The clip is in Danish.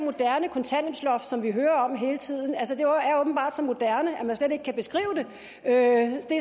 moderne kontanthjælpsloft som vi hører om hele tiden er åbenbart så moderne at man slet ikke kan beskrive det